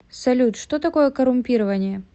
салют что такое коррумпирование